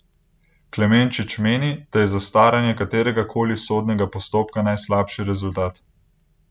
Klemenčič meni, da je zastaranje kateregakoli sodnega postopka najslabši rezultat.